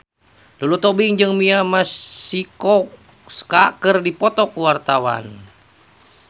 Lulu Tobing jeung Mia Masikowska keur dipoto ku wartawan